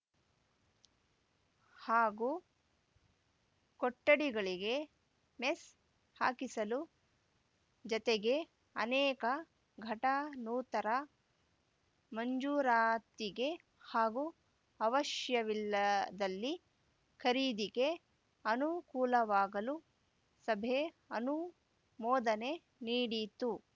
ಹಾಗೂ ಕೊಠಡಿಗಳಿಗೆ ಮೆಸ್‌ ಹಾಕಿಸಲು ಜತೆಗೆ ಅನೇಕ ಘಟನೋತ್ತರ ಮಂಜೂರಾತಿಗೆ ಹಾಗೂ ಅವಶ್ಯವಿಲ್ಲದಲ್ಲಿ ಖರೀದಿಗೆ ಅನುಕೂಲವಾಗಲು ಸಭೆ ಅನುಮೋದನೆ ನೀಡಿತು